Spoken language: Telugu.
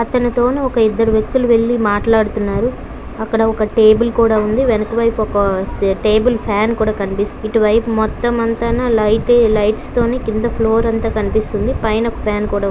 అతని తోను ఒక ఇద్దరు వేక్తి వేలి మాట్లాడుతున్నాడు అక్కడ ఒక టేబుల్ కూడా ఉంది అక్కడ ఒక టేబుల్ ఫ్యాన్ ఒక కనిస్తుంది ఇటు వేయిపు ఫ్లోర్ అంట కనిపిస్తుంది పైన ఫ్యాన్ అంట